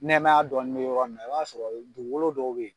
Nɛmɛya dɔɔnin be yɔrɔ min na, i b'a sɔrɔ dugukolo dɔw be yen